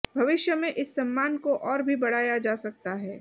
भविष्य में इस सम्मान को और भी बढ़ाया जा सकता है